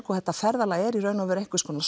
og þetta ferðalag er í raun og veru einhvers konar